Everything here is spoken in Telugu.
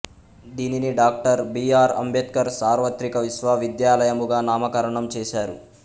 దీనిని డాక్టర్ బి ఆర్ అంబేద్కర్ సార్వత్రిక విశ్వవిద్యాలయముగా నామకరణం చేశారు